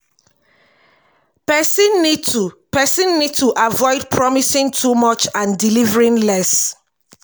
person need to person need to avoid promising too much and delivering less